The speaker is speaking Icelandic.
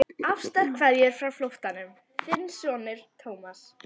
Ástarkveðjur frá flóttanum, þinn sonur Thomas.